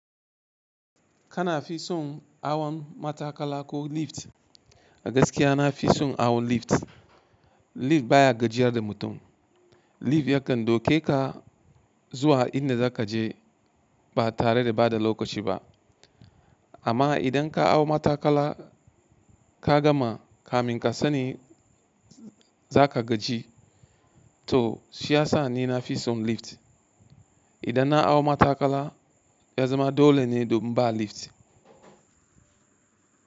Kana fi son hawan mataƙla ko lift? A gaskiya na fi son hawan lift. Lift baya gajiyar da mutum. Lift yakan ɗauke ka zuwa inda za ka je ba tare da ɓata lokaci ba. Amma idan ka hau mataƙala ka gama, ka min ka sani za ka gaji, to shi ya sa ni na fi son lift. Idan na hau mataƙala ya zama dole ne domin ba lift.